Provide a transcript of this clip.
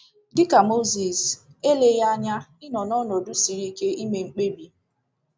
Dị ka Mozis, eleghi anya ị nọ n'ọnọdụ siri ike ime mkpebi.